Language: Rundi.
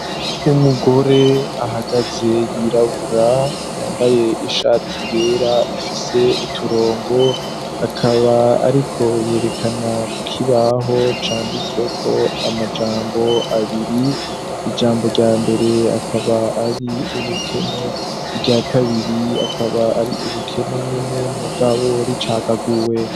Umugore ahagaze yirabura ,yambaye ishati ryera ifise uturongo ,akaba ariko yerekana kukibaho canditsweko amajambo abiri ,ijambo rya mbere akaba ari ubukene rya kabiri akaba ari ubukene nyene mugabo ricagaguwe.